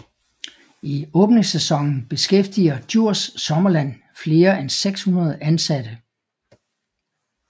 I åbningssæsonen beskæftiger Djurs Sommerland flere end 600 ansatte